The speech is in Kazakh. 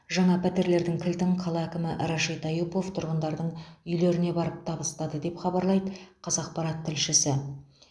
жаңа пәтерлердің кілтін қала әкімі рашид аюпов тұрғындардың үйлеріне барып табыстады деп хабарлайды қазақпарат тілшісі